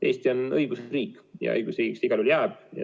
Eesti on õigusriik ja õigusriigiks ta igal juhul jääb.